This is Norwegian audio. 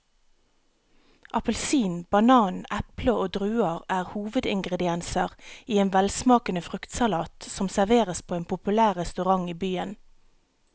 Appelsin, banan, eple og druer er hovedingredienser i en velsmakende fruktsalat som serveres på en populær restaurant i byen.